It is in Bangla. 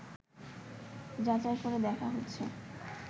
যাচাই করে দেখা হচ্ছে